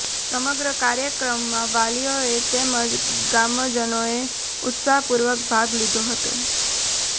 સમગ્ર કાર્યક્રમમાં વાલીઓ તેમજ ગામજનોએ ઉત્સાહપૂર્વક ભાગ લીધો હતો